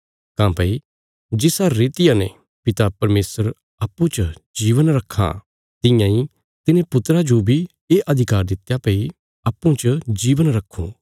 काँह्भई जिसा रितिया ने पिता परमेशर अप्पूँ च जीवन रखां तियां इ तिने पुत्रा जो बी ये अधिकार दित्या भई अप्पूँ च जीवन रक्खूँ